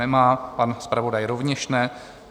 Nemá, pan zpravodaj rovněž ne.